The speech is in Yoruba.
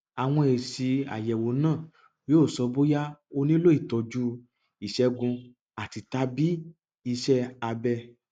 àwọn èsì àyẹwò náà yóò sọ bóyá o nílò ìtọjú ìṣègùn àtitàbí iṣẹ abẹ